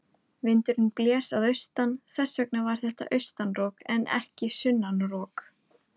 Vindurinn blés að austan, þess vegna var þetta austan rok en ekki sunnan rok.